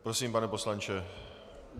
Prosím, pane poslanče.